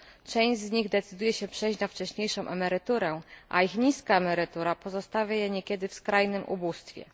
Część z nich decyduje się na przejście na wcześniejszą emeryturę, a ich niska emerytura pozostawia je niekiedy w skrajnym ubóstwie.